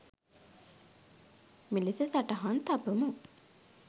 මෙලෙස සටහන් තබමු.